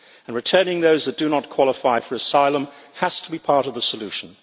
Returning those who do not qualify for asylum has to be part of the solution.